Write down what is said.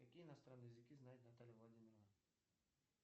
какие иностранные языки знает наталья владимировна